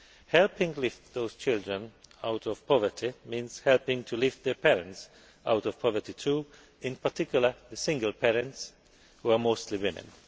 Helping to lift those children out of poverty means helping to lift their parents out of poverty too, in particular, the single parents, who are mostly women.